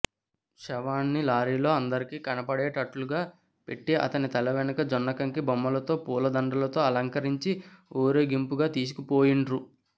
శవాన్ని లారీలో అందరికి కనపడేటట్లుగా పెట్టి అతని తల వెనుక జొన్నకంకి బొమ్మతో పూలదండలతో అలకరించి ఊరేగింపుగ తీసుక పోయిండ్రు